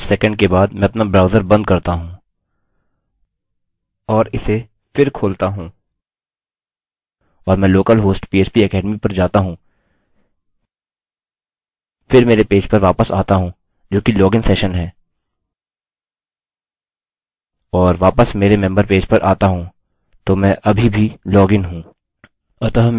और यदि कुछ सेकंड के बाद मैं अपना ब्राउजर बंद करता हूँ और इसे फिर खोलता हूँ और मैं local host php academy पर जाता हूँ फिर मेरे पेज पर वापस आता हूँ जोकि login सेशन है और वापस मेरे मेम्बर पेज पर आता हूँ तो मैं अभी भी लॉगइन हूँ